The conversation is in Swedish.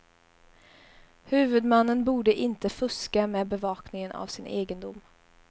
Huvudmannen borde inte fuska med bevakningen av sin egendom.